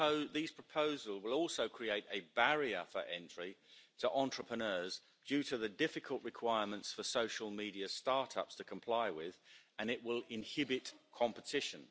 These proposals will also create a barrier for entry to entrepreneurs, due to the difficult requirements for social media start-ups to comply with and it will inhibit competition.